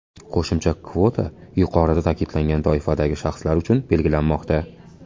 Qo‘shimcha kvota yuqorida ta’kidlangan toifadagi shaxslar uchun belgilanmoqda.